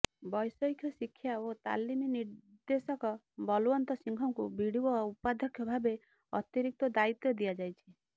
ବ୘ଷୟିକ ଶିକ୍ଷା ଓ ତାଲିମ୍ ନିେର୍ଦ୍ଦଶକ ବଲୱନ୍ତ ସିଂହଙ୍କୁ ବିଡିଏ ଉପାଧ୍ୟକ୍ଷ ଭାବେ ଅତିରିକ୍ତ ଦାୟିତ୍ବ ଦିଆଯାଇଛି